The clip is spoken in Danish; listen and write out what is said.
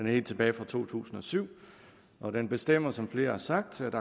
helt tilbage fra to tusind og syv og den bestemmer som flere har sagt at